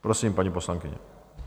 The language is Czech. Prosím, paní poslankyně.